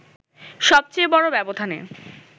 সবচেয়ে বড় ব্যবধানে